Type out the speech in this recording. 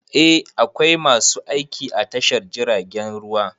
Eh, akwai masu aiki a tashar jiragen ruwa.